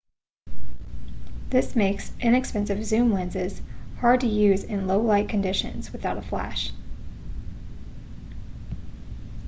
this makes inexpensive zoom lenses hard to use in low-light conditions without a flash